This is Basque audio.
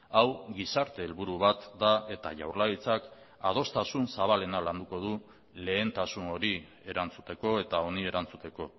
hau gizarte helburu bat da eta jaurlaritzak adostasun zabalena landuko du lehentasun hori erantzuteko eta honi erantzuteko